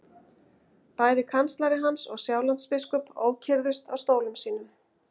Bæði kanslari hans og Sjálandsbiskup ókyrrðust á stólum sínum.